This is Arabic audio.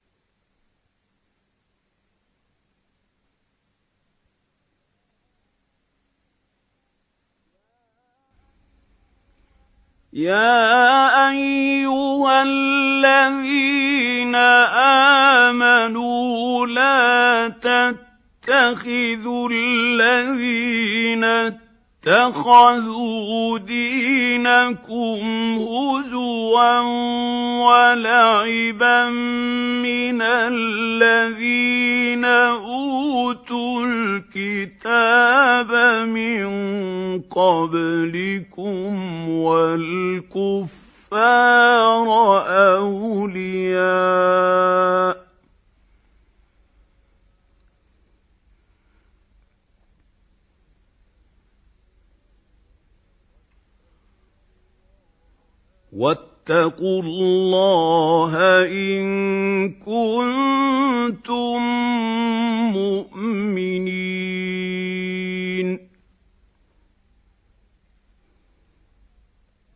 يَا أَيُّهَا الَّذِينَ آمَنُوا لَا تَتَّخِذُوا الَّذِينَ اتَّخَذُوا دِينَكُمْ هُزُوًا وَلَعِبًا مِّنَ الَّذِينَ أُوتُوا الْكِتَابَ مِن قَبْلِكُمْ وَالْكُفَّارَ أَوْلِيَاءَ ۚ وَاتَّقُوا اللَّهَ إِن كُنتُم مُّؤْمِنِينَ